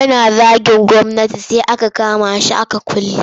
Yana zagin gwamnati sai aka kama shi aka kulle.